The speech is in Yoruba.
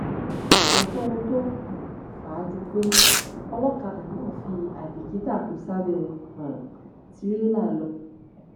kò sóhun tó um fà á ju pé olókàdà náà fi àìbìkítà kò sábẹ um tìrẹlà lọ